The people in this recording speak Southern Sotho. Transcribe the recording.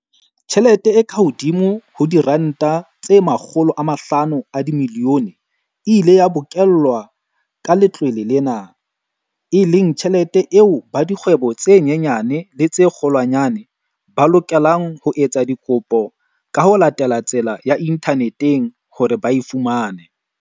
Tjhelete e kahodimo ho R500 milione e ile ya bokellwa ka letlole lena, e leng tjhelete eo ba dikgwebo tse nyenyane le tse kgolwanyane, ba lokelang ho etsa dikopo ka ho latela tsela ya inthaneteng hore ba e fumane.